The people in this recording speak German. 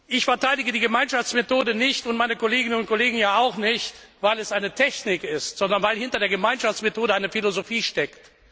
Ich verteidige die Gemeinschaftsmethode nicht und meine Kolleginnen und Kollegen hier auch nicht, weil es eine Technik ist, sondern weil hinter der Gemeinschaftsmethode eine Philosophie steckt.